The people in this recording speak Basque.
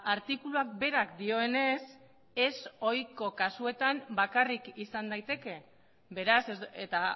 artikuluak berak dioenez ez ohiko kasuetan bakarrik izan daiteke beraz eta